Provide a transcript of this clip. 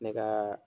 Ne ka